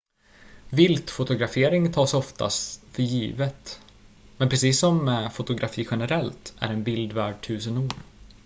viltfotografering tas ofta för givet men precis som med fotografi generellt är en bild värd tusen ord